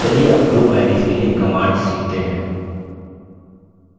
चलिए अब group ids के लिए commands सीखते हैं